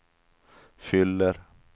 fyller